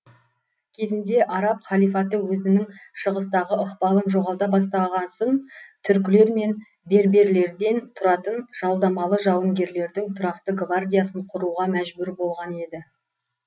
кезінде араб халифаты өзінің шығыстағы ықпалын жоғалта бастағасын түркілер мен берберлерден тұратын жалдамалы жауынгерлердің тұрақты гвардиясын құруға мәжбүр болған еді